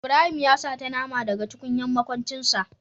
Ibrahim ya sata nama da ga tukunyar makuncin sa.